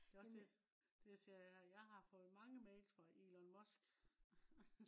det også det det jeg siger er at jeg har fået mange mails fra Elon Musk